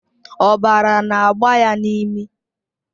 Ọbara na-agba ya n'imi.